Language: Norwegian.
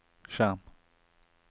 skjerm